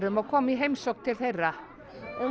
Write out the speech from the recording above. og koma í heimsókn til þeirra